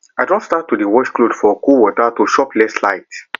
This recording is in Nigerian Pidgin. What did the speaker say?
i don start to dey wash clothes for cold water to chop less light